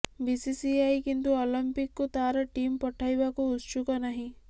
BCCI କିନ୍ତୁ ଅଲିମ୍ପିକକୁ ତାର ଟିମ ପଠାଇବାକୁ ଉତ୍ସୁକ ନାହିଁ